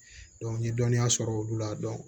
n ye dɔnniya sɔrɔ olu la